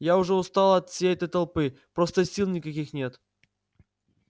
я уже устала от всей этой толпы просто сил никаких нет